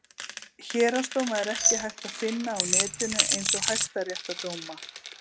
Héraðsdóma er ekki hægt að finna á netinu eins og hæstaréttardóma.